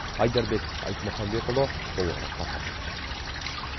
айдарбек айтмахамбетұлы толығырақ тарқатады